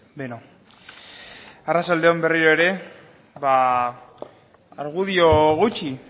beno arratsalde on berriro ere ba argudio gutxi